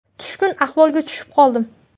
Tushkun ahvolga tushib qoldim.